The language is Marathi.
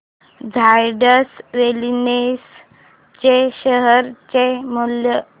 झायडस वेलनेस च्या शेअर चे मूल्य